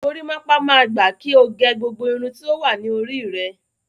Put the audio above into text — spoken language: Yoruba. Gorímápá máa gba kí o gẹ gbogbo irun tí ó wà ní orí rẹ.